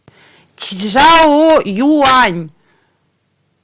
чжаоюань